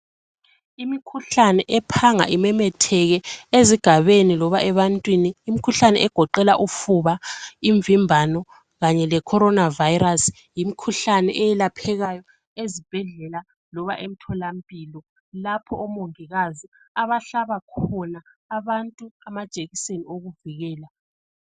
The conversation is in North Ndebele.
Imikhuhlane ephanga imemetheke ezigabeni loba ebantwini imikhuhlane egoqela ufuba, imvimbano kanye leCorona Virus yimikhuhlane eyelaphekayo ezibhedlela loba emtholampilo lapho omongikazi abahlaba khona abantu amajekiseni okuvikela.